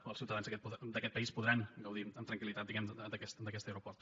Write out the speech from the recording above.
o els ciutadans d’aquest país podran gaudir amb tranquil·litat diguem ne d’aquest aeroport